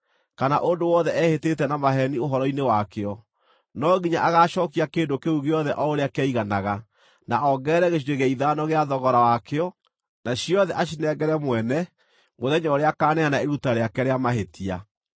kana ũndũ wothe ehĩtĩte na maheeni ũhoro-inĩ wakĩo. No nginya agaacookia kĩndũ kĩu gĩothe o ũrĩa kĩaiganaga, na ongerere gĩcunjĩ gĩa ithano gĩa thogora wakĩo, na ciothe acinengere mwene mũthenya ũrĩa akaaneana iruta rĩake rĩa mahĩtia.